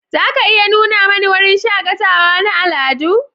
Za a iya nuna mani wurin shakatawa na al'adu?